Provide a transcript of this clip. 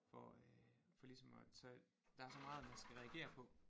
For øh for ligesom at tage der er så meget man skal reagere på